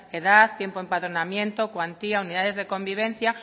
edad tiempo de empadronamiento cuantía unidades de convivencia